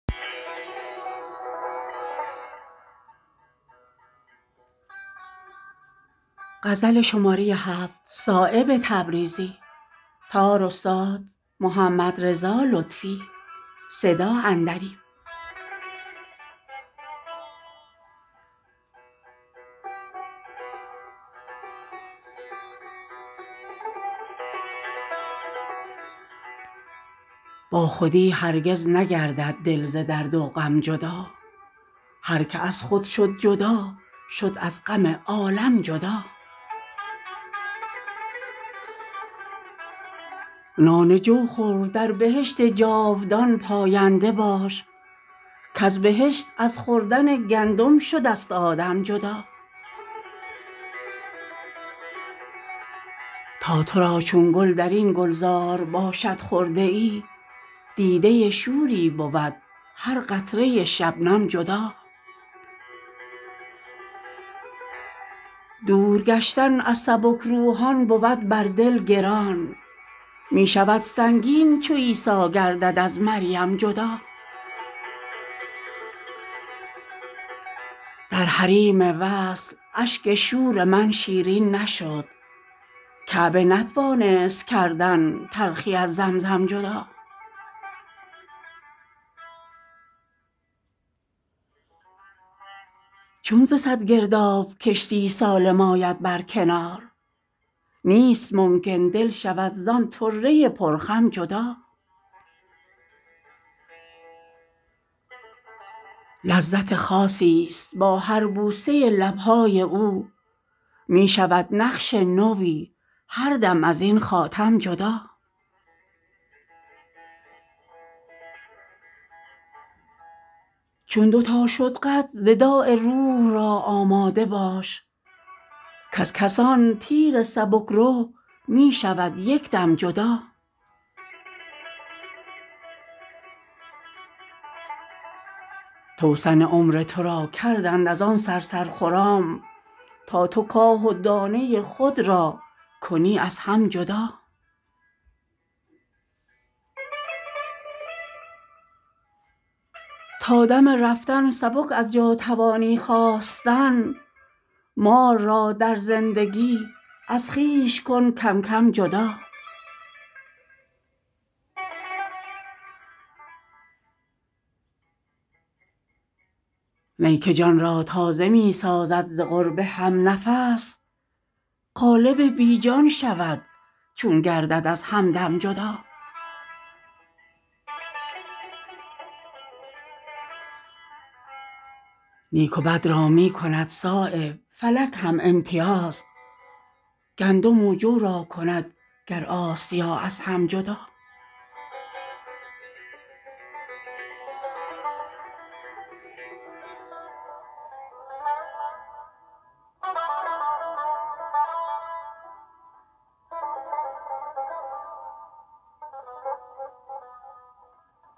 با خودی هرگز نگردد دل ز درد و غم جدا هر که از خود شد جدا شد از غم عالم جدا نان جو خور در بهشت جاودان پاینده باش کز بهشت از خوردن گندم شده ست آدم جدا تا تو را چون گل در این گلزار باشد خرده ای دیده شوری بود هر قطره شبنم جدا دور گشتن از سبک روحان بود بر دل گران می شود سنگین چو عیسیٰ گردد از مریم جدا در حریم وصل اشک شور من شیرین نشد کعبه نتوانست کردن تلخی از زمزم جدا چون ز صد گرداب کشتی سالم آید بر کنار نیست ممکن دل شود زان طره ی پر خم جدا لذت خاصی ست با هر بوسه لبهای او می شود نقش نوی هر دم از این خاتم جدا چون دو تا شد قد وداع روح را آماده باش کز کمان تیر سبکرو می شود یکدم جدا توسن عمر تو را کردند از آن صرصر خرام تا تو کاه و دانه خود را کنی از هم جدا تا دم رفتن سبک از جا توانی خاستن مال را در زندگی از خویش کن کم کم جدا نی که جان را تازه می سازد ز قرب همنفس قالب بی جان شود چون گردد از همدم جدا نیک و بد را می کند صایب فلک هم امتیاز گندم و جو را کند گر آسیا از هم جدا